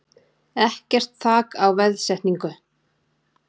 Ekkert þak á veðsetningu